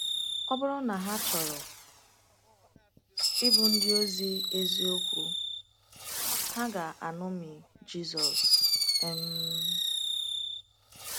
Ọ bụrụ na ha chọrọ ịbụ ndị ozi eziokwu, ha ga-aṅomi Jizọs. um